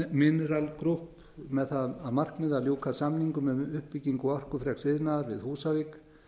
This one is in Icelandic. bosai mineral group með það að markmiði að ljúka samningum um uppbyggingu orkufreks iðnaðar við húsavík